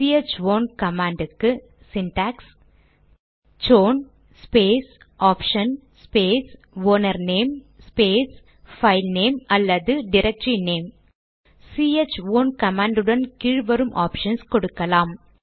C H own command க்கு syntax chown space option space owner name space filename அல்லது directory name C H own command உடன் கீழ் வரும் options கொடுக்கலாம்